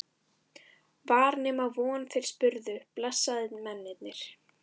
Var nema von þeir spyrðu, blessaðir mennirnir!